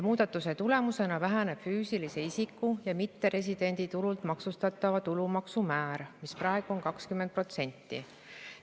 Muudatuse tulemusena väheneks füüsilise isiku ja mitteresidendi tulult maksustatava tulumaksu määr, mis praegu on 20%.